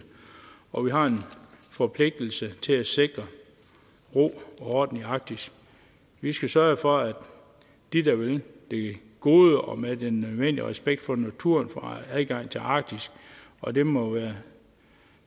og vi har en forpligtelse til at sikre ro og orden i arktis vi skal sørge for at de der vil det gode og med den nødvendige respekt for naturen får adgang til arktis og det må være